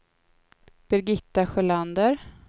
Birgitta Sjölander